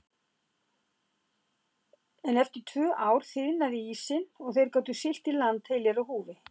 En eftir tvö ár þiðnaði ísinn og þeir gátu siglt í land heilir á húfi.